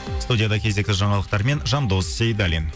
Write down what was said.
студияды кезекті жаңалықтармен жандос сейдаллин